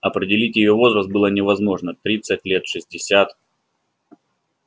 определить её возраст было невозможно тридцать лет шестьдесят